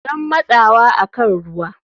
Don matsawa akan ruwa.